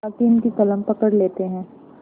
हाकिम की कलम पकड़ लेते हैं